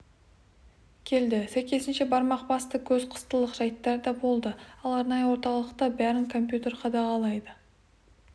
келді сәйкесінше бармақ басты көз қыстылық жайттар да болды ал арнайы орталықта бәрін компьютер қадағалайды